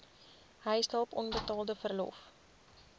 huishulp onbetaalde verlof